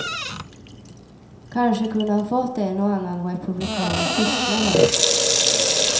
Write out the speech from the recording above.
Kanske kunde han fått en och annan republikan att tystna nu.